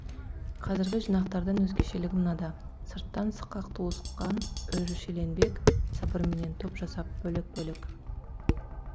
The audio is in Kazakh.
қазіргі жинақтардан өзгешелігі мынада сырттан сықақ туысқан өршеленбек сыбырменен топ жасап бөлек бөлек